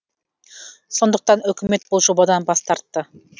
сондықтан үкімет бұл жобадан бас тартты